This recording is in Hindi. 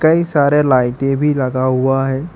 कई सारे लाइटे भी लगा हुआ है।